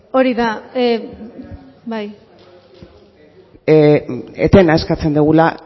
hori da bai etena eskatzen dugula